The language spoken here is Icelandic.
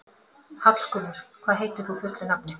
Hallgunnur, hvað heitir þú fullu nafni?